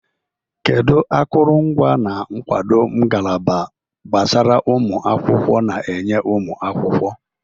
Kedu akụrụngwa na nkwado ngalaba gbasara ụmụ akwụkwọ na-enye ụmụ akwụkwọ?